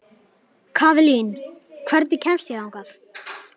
Kaðlín, hvernig kemst ég þangað?